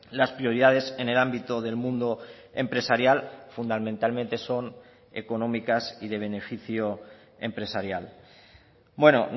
las prioridades en el ámbito del mundo empresarial fundamentalmente son económicas y de beneficio empresarial bueno